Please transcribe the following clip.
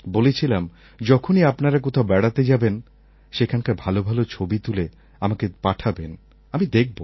বলেছিলাম যখনই আপনারা কোথাও বেড়াতে যাবেন সেখানকার ভাল ভাল ছবি তুলে আমাকে পাঠাবেন আমি দেখব